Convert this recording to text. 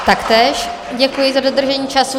Taktéž děkuji za dodržení času.